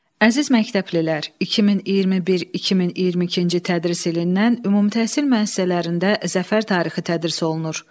Əziz məktəblilər, 2021-2022-ci tədris ilindən ümumtəhsil müəssisələrində Zəfər tarixi tədris olunur.